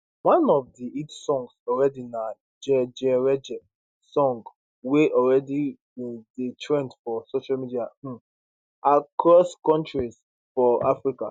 one of di hit songs already na jejereje song wey already bin dey trend for social media um across kontris for africa